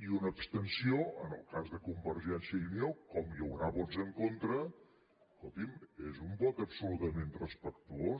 i una abstenció en el cas de convergència i unió com hi haurà vots en contra escolti’m és un vot absolutament respectuós